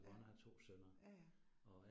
Ja, ja ja